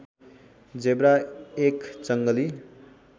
zebra एक जङ्गली